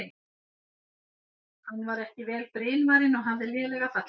Hann var ekki vel brynvarinn og hafði lélega fallbyssu.